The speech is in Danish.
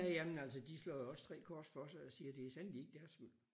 Ja ja men altså de slår jo også 3 kors for sig og siger det er sandelig ikke deres skyld